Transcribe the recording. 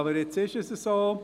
Aber, jetzt ist es so.